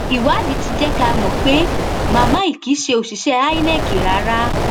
ìwádìí ti jẹ ká mọ pé màmá yìí kì í ṣe òṣìṣẹ inec rárá